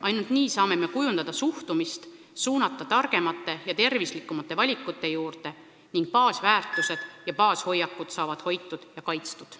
Ainult nii saame me kujundada suhtumist, suunata neid targemate ja tervislikumate valikute juurde ning meie baasväärtused ja -hoiakud on hoitud ja kaitstud.